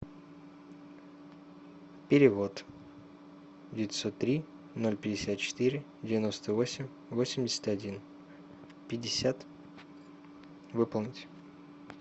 перевод девятьсот три ноль пятьдесят четыре девяносто восемь восемьдесят один пятьдесят выполнить